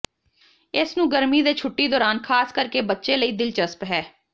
ਇਸ ਨੂੰ ਗਰਮੀ ਦੇ ਛੁੱਟੀ ਦੌਰਾਨ ਖਾਸ ਕਰਕੇ ਬੱਚੇ ਲਈ ਦਿਲਚਸਪ ਹੈ